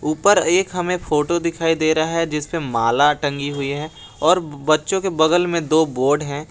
ऊपर एक हमें फोटो दिखाई दे रहा है जिसपे माला टंगी हुई है और बच्चों के बगल में दो बोर्ड हैं।